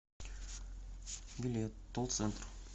билет тул центр